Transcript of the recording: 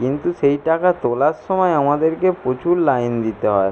কিন্তু সেই টাকা তোলার সময় আমাদেরকে প্রচুর লাইন দিতে হয়।